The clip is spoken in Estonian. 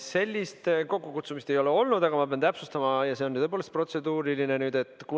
Sellist kokkukutsumist ei ole olnud, aga ma pean täpsustama ja see on tõepoolest protseduuriline.